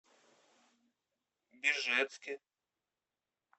бежецке